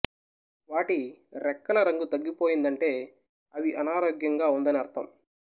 వాటి రెక్కల రంగు తగ్గిపోయిందంటే అవి అనారోగ్యంగా ఉందని అర్థం